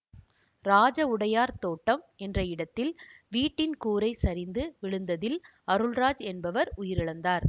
ராஜ உடையார் தோட்டம் என்ற இடத்தில் வீட்டின் கூரை சரிந்து விழுந்ததில் அருள்ராஜ் என்பவர் உயிரிழந்தார்